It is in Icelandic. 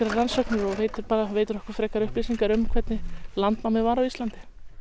rannsóknir og veitir okkur upplýsingar um hvernig landnámið var á Íslandi